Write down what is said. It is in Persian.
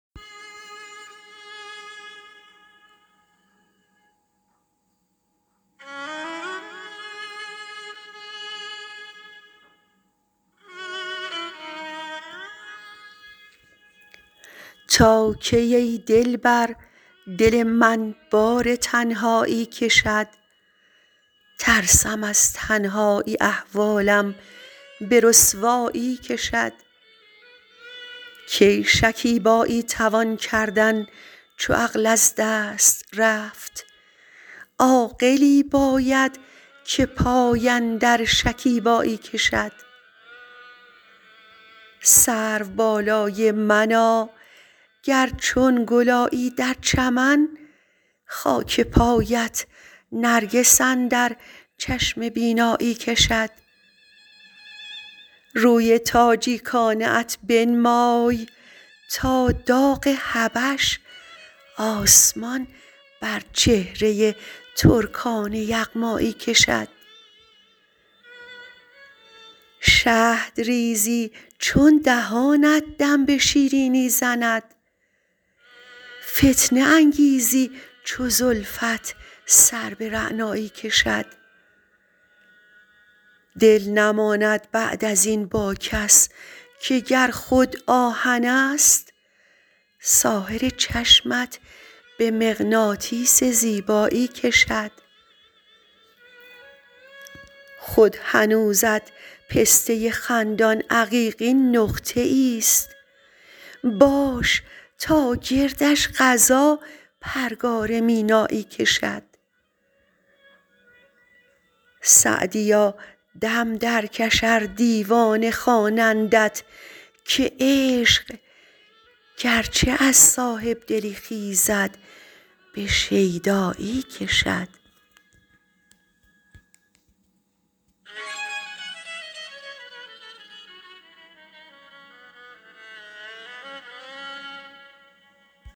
تا کی ای دلبر دل من بار تنهایی کشد ترسم از تنهایی احوالم به رسوایی کشد کی شکیبایی توان کردن چو عقل از دست رفت عاقلی باید که پای اندر شکیبایی کشد سروبالای منا گر چون گل آیی در چمن خاک پایت نرگس اندر چشم بینایی کشد روی تاجیکانه ات بنمای تا داغ حبش آسمان بر چهره ترکان یغمایی کشد شهد ریزی چون دهانت دم به شیرینی زند فتنه انگیزی چو زلفت سر به رعنایی کشد دل نماند بعد از این با کس که گر خود آهنست ساحر چشمت به مغناطیس زیبایی کشد خود هنوزت پسته خندان عقیقین نقطه ایست باش تا گردش قضا پرگار مینایی کشد سعدیا دم درکش ار دیوانه خوانندت که عشق گرچه از صاحب دلی خیزد به شیدایی کشد